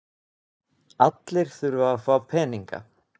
Allir þurfa að fá peninga.